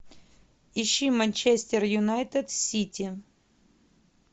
ищи манчестер юнайтед сити